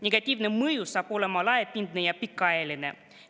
Negatiivne mõju saab olema laiapindne ja pikaajaline.